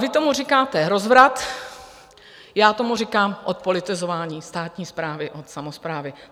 Vy tomu říkáte rozvrat, já tomu říkám odpolitizování státní správy od samosprávy.